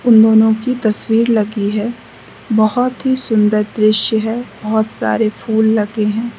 उन दोनों की तस्वीर लगी है बहोत ही सुंदर दृश्य है बहोत सारे फूल लगे हैं।